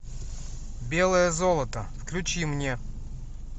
белое золото включи мне